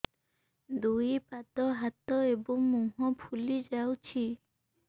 ଦୁଇ ପାଦ ହାତ ଏବଂ ମୁହଁ ଫୁଲି ଯାଉଛି